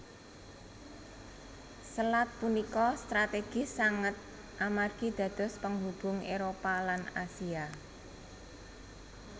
Selat punika strategis sanget amargi dados penghubung Éropah lan Asia